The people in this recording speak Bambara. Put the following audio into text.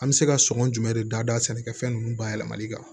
An bɛ se ka sɔngɔn jumɛn de dada sɛnɛkɛfɛn nunnu bayɛlɛmali kan